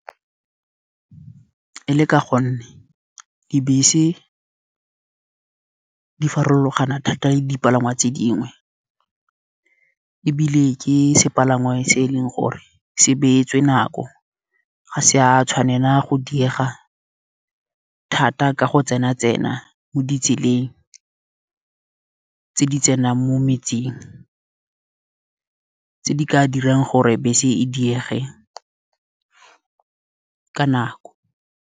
E le ka gonne dibese di farologana thata le dipalangwa tse dingwe, ebile ke sepalangwa se e leng gore se beetswe nako. Ga se a tshwanela go diega thata ka go tsena tsena mo ditseleng tse di tsenang mo metseng, tse di ka dirang gore bese e diege ka nako.